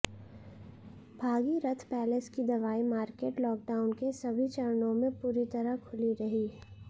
Bhagirath palace की दवाई market lockdown के सभी चरणों में पूरी तरह खुली रही